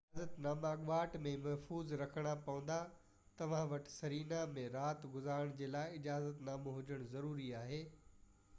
اجازت ناما اڳواٽ ۾ ئي محفوظ رکڻا پوندا توهان وٽ سرينا ۾ رات گذارڻ جي لاءِ اجازت نامو هجڻ ضروري آهي